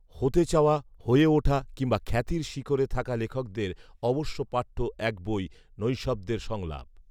হতে চাওয়া, হয়ে ওঠা, কিংবা খ্যাতির শিখরে থাকা লেখকদের অবশ্য পাঠ্য এক বই “নৈঃশব্দের সংলাপ”